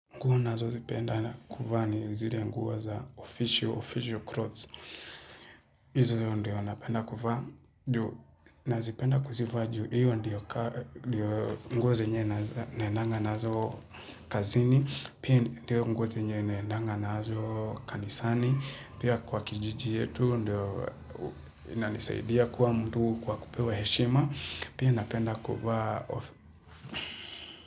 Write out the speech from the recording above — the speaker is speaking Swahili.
Nguo nazozipenda kufa ni zile nguo za official, official clothes. Izo ndio napenda kuvaa, ndio nazipenda kuziva juu. Iyo ndio nguo zenye naendanga nazo kazini, pia ndio nguo zenye naendanga naazo kanisani, pia kwa kijiji yetu, ndio inanisaidia kuwa mtu kwa kupewa heshima, pia napenda kuvaa.